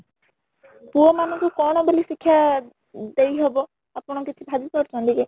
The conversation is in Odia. ପୁଅ ମାନ ଙ୍କୁ କ'ଣ ବୋଲି ଶିକ୍ଷା ଦେଇ ହବ ଆପଣ କିଛି ଭାବି ପାରୁଛନ୍ତି କି ?